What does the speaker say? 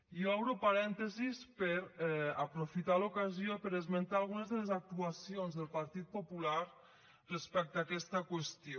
i obro parèntesi per a aprofitar l’ocasió per esmentar algunes de les actuacions del partit popular respecte a aquesta qüestió